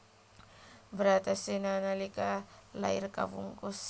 Bratasena nalika lair kabungkus